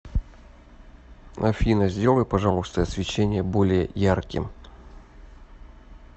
афина сделай пожалуйста освещение более ярким